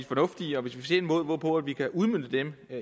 fornuftige og hvis vi ser en måde hvorpå vi kan udmønte dem